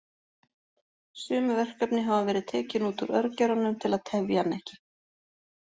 Sum verkefni hafa verið tekin út úr örgjörvanum til að tefja hann ekki.